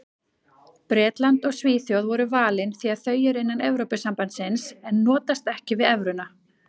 Bretland og Svíþjóð voru valin því þau eru innan Evrópusambandsins en notast ekki við evruna.